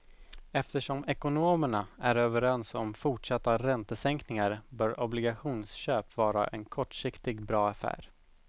Eftersom ekonomerna är överens om fortsatta räntesänkningar bör obligationsköp vara en kortsiktig bra affär.